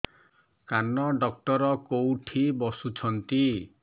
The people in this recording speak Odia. କାନ ଡକ୍ଟର କୋଉଠି ବସୁଛନ୍ତି